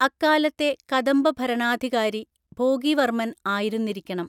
അക്കാലത്തെ കദംബഭരണാധികാരി ഭോഗിവർമൻ ആയിരുന്നിരിക്കണം.